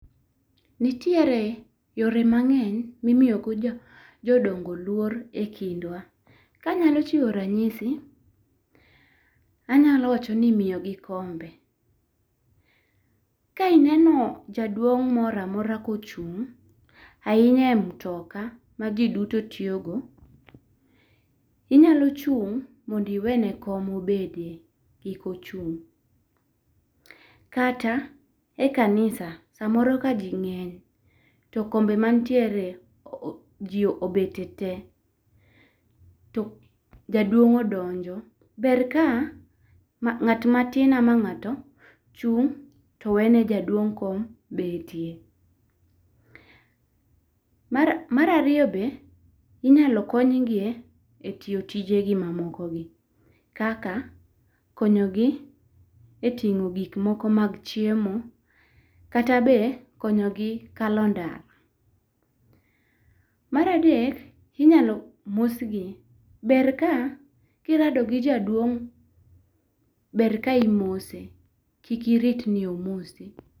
Nitiere yore mang'eny mi imiyo go jodongo luor e kindwa. Ka anyalo chiwo rang'isi, anyalo wacho ni imiyo gi kombe, ka ineno jaduong' moro amora ka ochung' ahinya e mtoka ma ji duto tiyo go, inyalo chung' mondo iwe ne kom obede kik ochung'. Kata e kanisa saa moro ka ji ng'eny to kombe manitIere ji obete te to jaduong' odonjo, ber ka ng'at ma tin ama ng'ato chung' to we ne jaduong' kom betie. Mar ariyo be inyal kony gi e tiyo tije gi ma moko gi , kaka konyo gi a e ting'o gik moko mag chiemo kata be konyo gi kalo ndara. Mar adek inyalo mos gi ber ka irado gi jaduong' ber ka imose kik irit ni omosi.